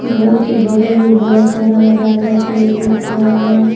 घर के बगल में बहोत सारा हरा भरा पेड़ दिख रहा है।